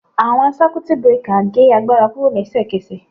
Awọn Circuit breaker ge agbara kuro lesekese